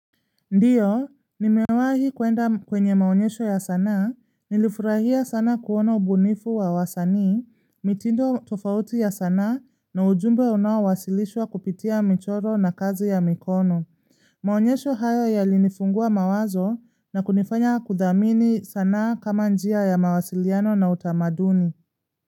Ndiyo, nimewahi kuenda kwenye maonyesho ya sanaa, nilifurahia sana kuona ubunifu wa wasanii, mitindo tofauti ya sanaa na ujumbe unaowasilishwa kupitia michoro na kazi ya mikono. Maonyesho hayo yalinifungua mawazo na kunifanya kudhamini sanaa kama njia ya mawasiliano na utamaduni.